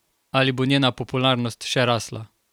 Ali bo njena popularnost še rasla?